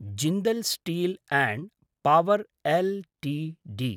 Jindal steel and power Ltd